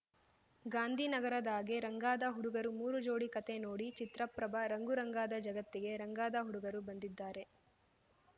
ಗಾಂಧಿನಗರದಾಗೆ ರಂಗಾದ ಹುಡುಗರು ಮೂರು ಜೋಡಿ ಕತೆ ನೋಡಿ ಚಿತ್ರ ಪ್ರಭ ರಂಗು ರಂಗಾದ ಜಗತ್ತಿಗೆ ರಂಗಾದ ಹುಡುಗರು ಬಂದಿದ್ದಾರೆ